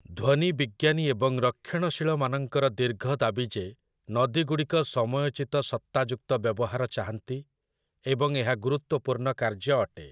ଧ୍ଵନୀ ବିଜ୍ଞାନୀ ଏବଂ ରକ୍ଷଣଶୀଳମାନଙ୍କର ଦୀର୍ଘ ଦାବି ଯେ ନଦୀଗୁଡ଼ିକ ସମୟୋଚିତ ସତ୍ତାଯୁକ୍ତ ବ୍ୟବହାର ଚାହାନ୍ତି, ଏବଂ ଏହା ଗୁରୁତ୍ଵପୂର୍ଣ୍ଣ କାର୍ଯ୍ୟ ଅଟେ ।